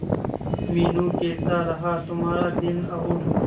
मीनू कैसा रहा तुम्हारा दिन और